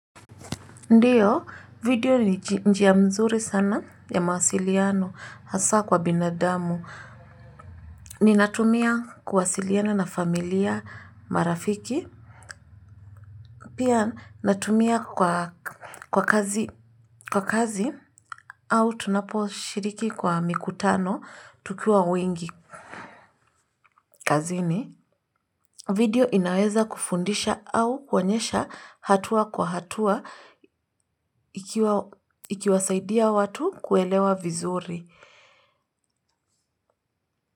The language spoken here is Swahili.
Ndiyo video ni njia mzuri sana ya mawasiliano hasa kwa binadamu ninatumia kuwasiliana na familia marafiki pia natumia kwa kazi au tunaposhiriki kwa mikutano tukiwa wengi kazini video inaweza kufundisha au kuonyesha hatua kwa hatua ikiwasaidia watu kuelewa vizuri.